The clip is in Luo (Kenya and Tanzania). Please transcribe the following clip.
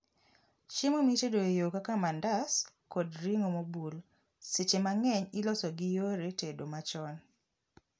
chiemo mitedo e yoo kaka mandas kod ring'o mobul seche mang'eny iloso gi yore tedo machon